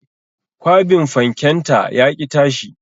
Kwabin fanken ta yaƙi tashi